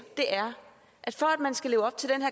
er at for at man skal leve op til den